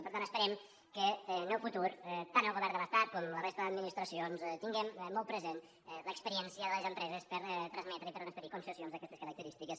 per tant esperem que en el futur tant el govern de l’estat com la resta d’administraci·ons tinguem molt present l’experiència de les empreses per transmetre i per transferir concessions d’aquestes característiques